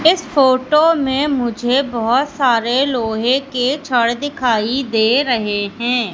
इस फोटो में मुझे बहोत सारे लोहे के छड़ दिखाई दे रहे हैं।